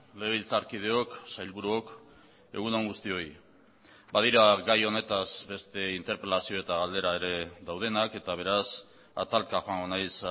legebiltzarkideok sailburuok egun on guztioi badira gai honetaz beste interpelazio eta galdera ere daudenak eta beraz atalka joango naiz